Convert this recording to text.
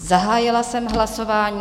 Zahájila jsem hlasování.